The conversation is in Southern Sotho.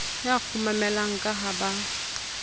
ya kgumamela ka ha ba